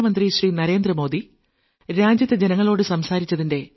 നമസ്കാരം